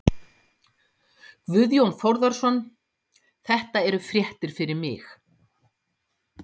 Guðjón Þórðarson: Þetta eru fréttir fyrir mig.